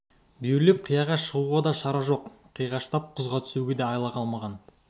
бүйірлеп қияға шығуға да шара жоқ қиғаштап құзға түсуге де айла қалмаған